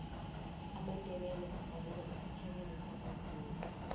amandebele adabuka esitjhabeni samazulu